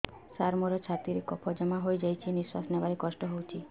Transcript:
ସାର ମୋର ଛାତି ରେ କଫ ଜମା ହେଇଯାଇଛି ନିଶ୍ୱାସ ନେବାରେ କଷ୍ଟ ହଉଛି